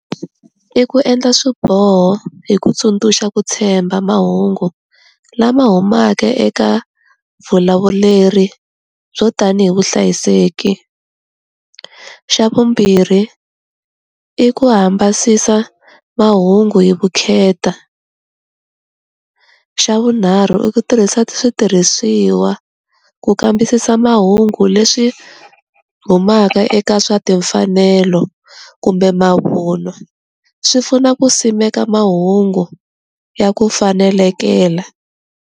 I ku endla swiboho hi ku tsundzuxa ku tshemba mahungu lama humaka eka vulawuleri yo tanihi vuhlayiseki, xa vumbirhi i ku hambasisa mahungu hi vukheta, xa vunharhu i ku tirhisa switirhisiwa ku kambisisa mahungu leswi humaka eka swa timfanelo kumbe mavunwa swi pfuna ku simeka mahungu ya ku fanelekela.